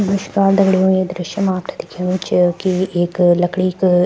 नमश्कार दगड़ियों ये दृश्य मा आपथे दिखेणु च की एक लकड़ी क --